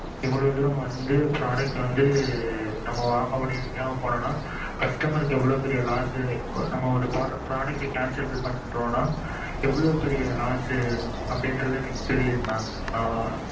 இவ்வளவு தூரம் வந்து product வந்து customer இவ்வளவு தூரம் வந்து நம்ம வாங்க முடியாம போனோம் நா இவ்வளவு பெரிய loss நம்ம ஒரு product அ cancel பண்ணுறோம் நா எவ்வளுவு பெரிய loss னு தெரிது mam